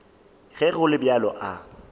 ge go le bjalo a